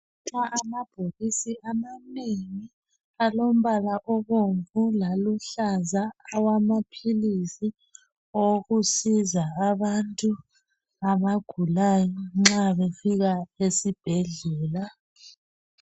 Nxa amabhokisi amanengi alombala obomvu laluhlaza awamaphilisi okusiza abantu abagulayo nxa befika esibhedlela.